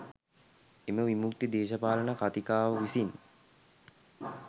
එම විමුක්ති දේශපාලන කතිකාව විසින්